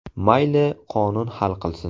Mayli qonun hal qilsin .